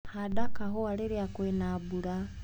Handa kahua rĩria kwĩna mbura.